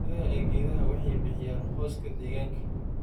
Midhaha ee geedaha waxay bixiyaan hooska deegaanka.